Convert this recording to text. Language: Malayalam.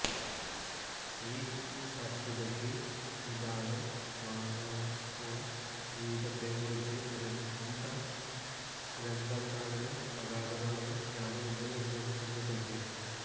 ഈ വസ്തുതയ്ക്ക് നിദാനം മാനവജീവിതത്തെക്കുറിച്ച് ഗ്രന്ഥകാരനു അഗാധമായ ജ്ഞാനം ഉണ്ട് എന്നതുതന്നെ